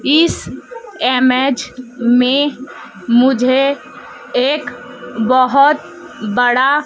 इस इमेज में मुझे एक बहुत बड़ा--